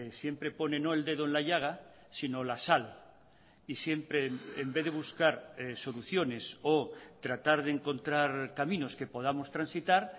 siempre pone no el dedo en la llaga sino la sal y siempre en vez de buscar soluciones o tratar de encontrar caminos que podamos transitar